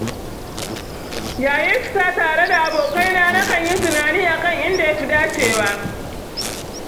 Yayin fita tare da abokaina na kan yi tunani akan inda ya fi dacewa